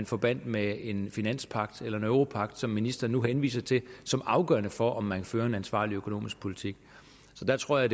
forbandt med en finanspagt eller en europagt som ministeren nu henviser til som afgørende for om man fører en ansvarlig økonomisk politik så der tror jeg